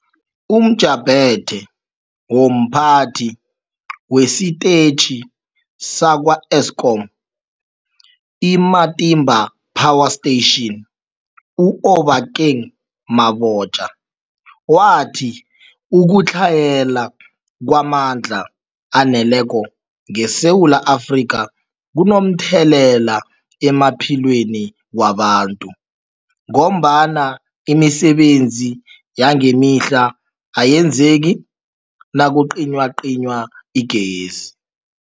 UmJaphethe womPhathi wesiTetjhi sakwa-Eskom i-Matimba Power Station u-Obakeng Mabotja wathi ukutlhayela kwamandla aneleko ngeSewula Afrika kunomthelela emaphilweni wabantu ngombana imisebenzi yangemihla ayenzeki nakucinywacinywa igezi.